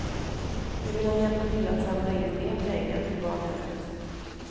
Nu vill han hjälpa till att samla in mer pengar till barnhemmet.